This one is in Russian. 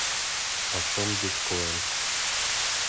почем биткоин